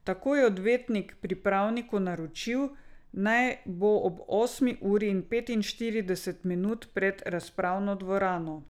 Tako je odvetnik pripravniku naročil, naj bo ob osmi uri in petinštirideset minut pred razpravno dvorano.